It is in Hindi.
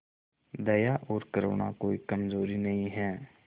दया और करुणा कोई कमजोरी नहीं है